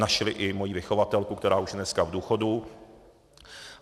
Našli i moji vychovatelku, která už dneska je v důchodu.